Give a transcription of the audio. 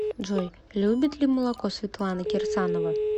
джой любит ли молоко светлана кирсанова